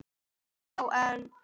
Já, en